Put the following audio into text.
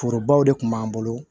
Forobaw de kun b'an bolo